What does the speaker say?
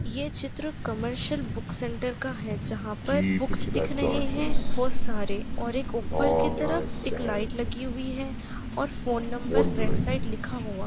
ये चित्र commercial book centre का है जहां पर बुक्स दिख रहे है बहुत सारे और एक ऊपर के तरफ एक लाइट लगी हुई है और फोन नंबर राइट साइड लिखा हुआ --